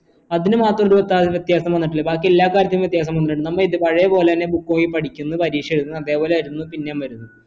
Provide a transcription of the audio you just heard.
അതിനുമാത്രം എന്തുകൊണ്ട് വ്യത്യാസം വന്നില്ല ബാക്കിയെല്ലാ കാര്യത്തിനും വ്യത്യാസം വന്നിട്ടുണ്ട് നമ്മൾ പഴയ പോലെയല്ലേ book നോക്കി പഠിക്കുന്ന് പരീക്ഷ എഴുതുന്ന് അത്പോലെ ആയിരുന്ന് പിന്നേം വരുന്ന്